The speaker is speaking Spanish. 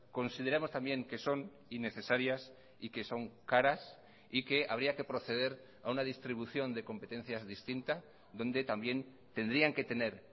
consideramos también que son innecesarias y que son caras y que habría que proceder a una distribución de competencias distinta donde también tendrían que tener